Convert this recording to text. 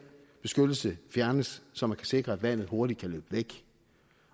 beskyttelse fjernes så man kan sikre at vandet hurtigt kan løbe væk